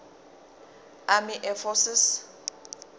army air forces